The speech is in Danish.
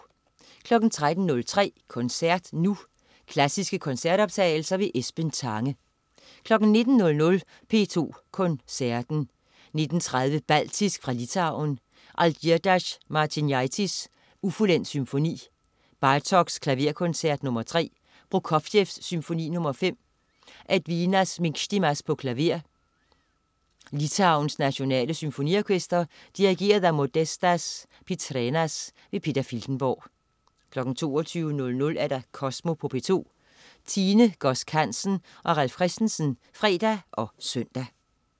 13.03 Koncert Nu. Klassiske koncertoptagelser. Esben Tange 19.00 P2 Koncerten. 19.30 Baltisk fra Litauen. Algirdas Martinaitis: Ufuldendt Symfoni. Bartók: Klaverkoncert nr. 3. Prokofjev: Symfoni nr. 5. Edvinas Minkstimas, klaver. Litauens Nationale Symfoniorkester. Dirigent: Modestas Pitrenas. Peter Filtenborg 22.00 Kosmo på P2. Tine Godsk Hansen og Ralf Christensen (fre og søn)